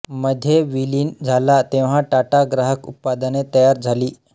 मध्ये विलीन झाला तेव्हा टाटा ग्राहक उत्पादने तयार झाली